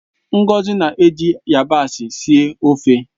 Ngozi na-eji yabasị síé ofeo